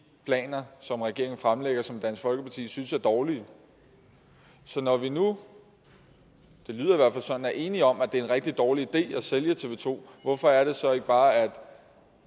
planer som regeringen fremlægger som dansk folkeparti synes er dårlige så når vi nu det lyder sådan er enige om at det er en rigtig dårlig idé at sælge tv to hvorfor er det så ikke bare